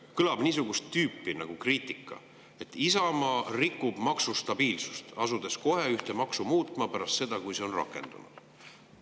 Kõlab niisugust tüüpi kriitika, et Isamaa rikub maksustabiilsust, asudes ühte maksu muutma kohe pärast seda, kui see on rakendunud.